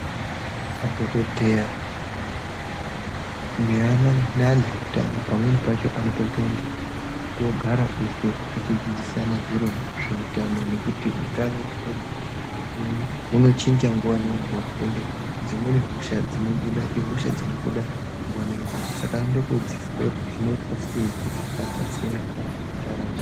Madhokodheya neantu eutano pamweni pacho anotombo ende kogara eshe veidzidzisana zveutano nekuti untano hwedu unochinja nguwa nenguwa ende dzimweni hosha dzinobuda ihosha dzinobuda nguwa nenguwa saka kodzidziswa kuti zvinoitwa sei kuti abatsire anoramu.